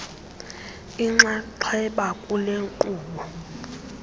inxaxheba kule nkqubo